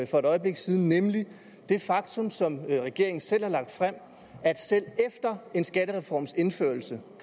for et øjeblik siden nemlig det faktum som regeringen selv har lagt frem at selv efter en skattereforms indførelse